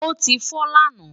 ó ti fọ́ lánàá